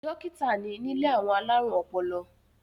Dó̩kítà ni nílé àwọn alárùn ọpọlọ